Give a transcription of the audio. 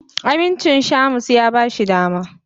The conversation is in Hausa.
Amincin Shamus ya ba shi dama.